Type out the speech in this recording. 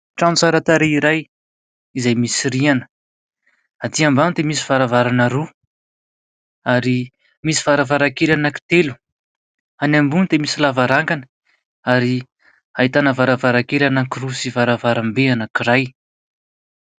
Trano tsara tarehy iray izay misy rihana. Atỳ ambany dia misy varavarana roa ary misy varavarankely anankitelo. Any ambony dia misy lavarangana ary ahitana varavarankely anankiroa sy varavarambe anankiray.